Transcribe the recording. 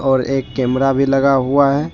और एक कैमरा भी लगा हुआ है ।